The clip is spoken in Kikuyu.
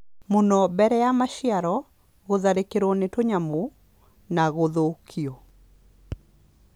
mũno mbere ya maciaro, gũtharĩkĩrũo nĩ tũnyamũ, na gũthũkio